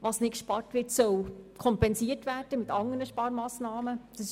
Was aus dem Paket entfernt wird, soll mit anderen Sparmassnahmen kompensiert werden.